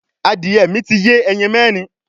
Adìẹ mi ti yé ẹyin mẹrin